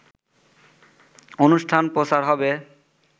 অনুষ্ঠান প্রচার হবে।